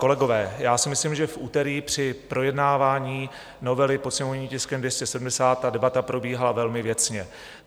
Kolegové, já si myslím, že v úterý při projednávání novely pod sněmovním tiskem 270 ta debata probíhala velmi věcně.